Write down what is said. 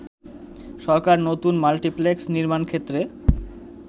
সরকার নতুন মাল্টিপ্লেক্স নির্মাণ ক্ষেত্রে